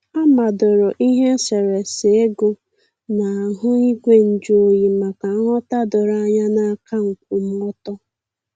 A madoro ihe eserésé égò n'ahụ igwe nju oyi maka nghọ̀ta doro anya na aka nkwụmọtọ.